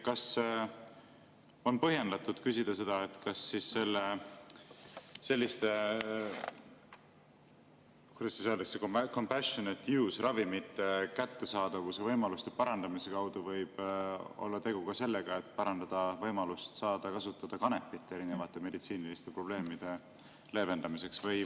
Kas on põhjendatud küsida seda, kas selliste, kuidas öeldakse, compassionate-use-ravimite kättesaadavuse võimaluste parandamise kaudu võib olla tegu ka sellega, et parandatakse võimalust kasutada kanepit erinevate meditsiiniliste probleemide leevendamiseks?